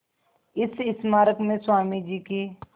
इस स्मारक में स्वामी जी की